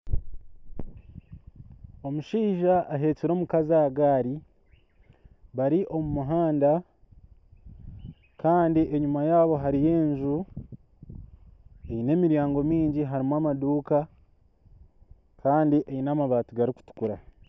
Omushaija ahekyire omukazi aha gari bari omu muhanda kandi enyima yaabo hariyo enju eine emiryango mingi harimu amaduka kandi eine amabati garikutukura.